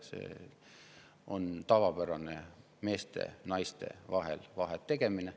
See on tavapärane meeste ja naiste vahel vahet tegemine.